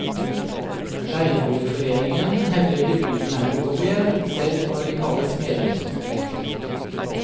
Leieboerforeningen hevder gebyrene er ulovlige, selv når de kalles medlemskontingenter.